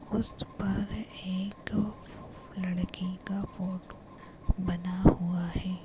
उस पर एक लड़की का फोटो बना हुआ है।